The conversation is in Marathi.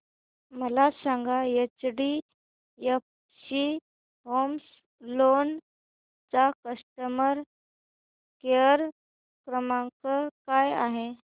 मला सांगा एचडीएफसी होम लोन चा कस्टमर केअर क्रमांक काय आहे